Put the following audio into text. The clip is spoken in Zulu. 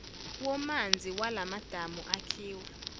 womanzi walamadamu akhiwa